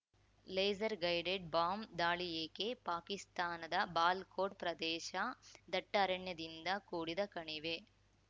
laser guided bomb ದಾಳಿ ಏಕೆ ಪಾಕಿಸ್ತಾನದ ಬಾಲ್ ಕೋಟ್‌ ಪ್ರದೇಶ ದಟ್ಟಾರಣ್ಯದಿಂದ ಕೂಡಿದ ಕಣಿವೆ